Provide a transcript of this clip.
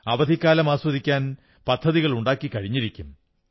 അവധിക്കാലം ആസ്വദിക്കാൻ പദ്ധതികളുണ്ടാക്കിക്കഴിഞ്ഞിരിക്കും